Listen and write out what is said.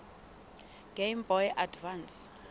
game boy advance